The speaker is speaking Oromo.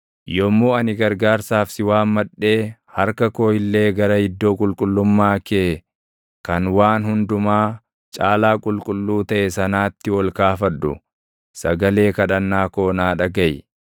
Yommuu ani gargaarsaaf si waammadhee harka koo illee gara Iddoo Qulqullummaa kee kan Waan Hundumaa Caalaa Qulqulluu taʼe sanaatti ol kaafadhu, sagalee kadhannaa koo naa dhagaʼi.